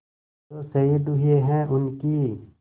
जो शहीद हुए हैं उनकी